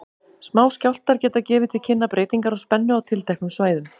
Smáskjálftar geta gefið til kynna breytingar á spennu á tilteknum svæðum.